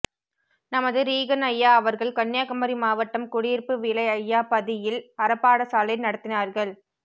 நமது ரீகன்அய்யா அவர்கள் கன்னியாகுமரி மாவட்டம் குடியிருப்புவிளை அய்யா பதியில் அறப்பாடசாலை நடத்தினார்கள்